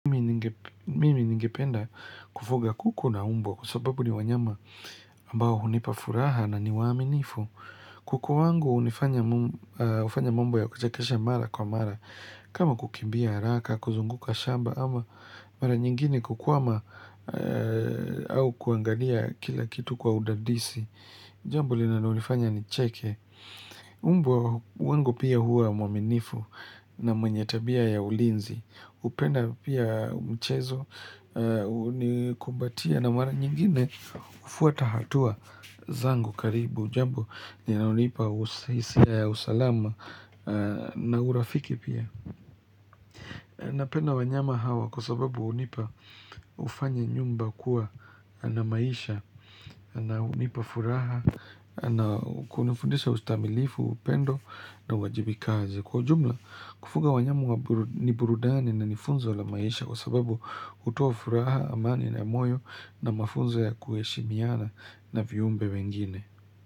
Mimi ningependa kufuga kuku na mbwa kwa sababu ni wanyama ambao hunipa furaha na ni waaminifu. Kuku wangu hufanya mambo ya kuchekesha mara kwa mara, kama kukimbia haraka, kuzunguka shamba ama mara nyingine kukwama au kuangalia kila kitu kwa udadisi jambo linalonifanya nicheke. Mbwa wangu pia, huwa mwaminifu na mwenye tabia ya ulinzi hupenda pia mchezo, hunikumbatia na mara nyingine hufuata hatua zangu karibu jambo linalonipa hisia ya usalama na urafiki pia Napenda wanyama hawa kwa sababu hufanya nyumba kuwa na maisha na hunipa furaha na kunifundisha ustahimilifu, upendo na uwajibikaji. Kwa ujumla, kufuga wanyama ni burudani na ni funzo la maisha kwa sababu hutoa furaha, amani na moyo na mafunzo ya kuheshimiana na viumbe wengine.